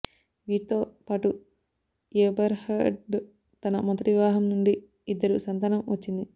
వీరితోపాటు Eberhard తన మొదటి వివాహం నుండి ఇద్దరు సంతానం వచ్చింది